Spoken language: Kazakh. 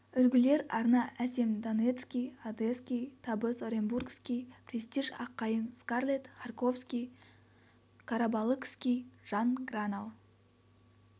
үлгілер арна әсем донецкий одесский табыс оренбургский престиж аққайың скарлетт харьковский карабалыкский жан гранал